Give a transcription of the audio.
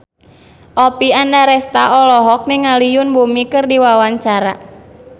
Oppie Andaresta olohok ningali Yoon Bomi keur diwawancara